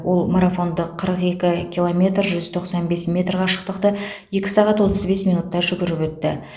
ол марафонды қырық екі километр жүз тоқсан бес метр қашықтықтыекі сағатотыз бес минутта жүгіріп өтті